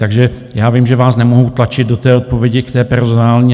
Takže já vím, že vás nemohu tlačit do té odpovědi, k té personální.